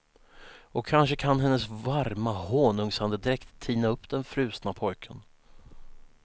Och kanske kan hennes varma honungsandedräkt tina upp den frusna pojken.